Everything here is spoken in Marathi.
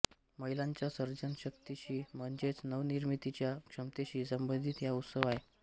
महिलांच्या सर्जनशक्तीशी म्हणजेच नवनिर्मितीच्या क्षमतेशी संबंधित हा उत्सव आहे